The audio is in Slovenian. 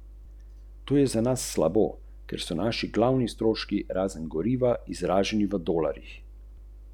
Zadele so nevidni zid, ki ga je ustvarila trinajsterica, in se neškodljivo razblinile.